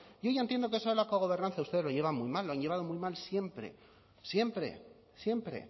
yo ya entiendo que eso de la cogobernanza ustedes lo llevan muy mal lo han llevado muy mal siempre siempre siempre